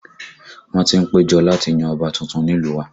Wọ́n ti ń péjọ láti yan ọba tuntun nílùú wa